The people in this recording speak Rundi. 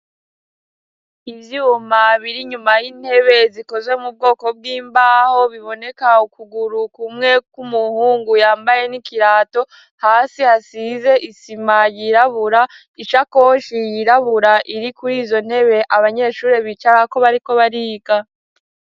Ivyuma biri nyuma y'intebe zikozwe mu bwoko bwimbaho biboneka ukuguru kumwe kumuhungu yambaye n'ikirato hasi hasize isima yirabura isakoshi yirabura iri kurizo ntebe abanyeshuri bicarako bariko bariga.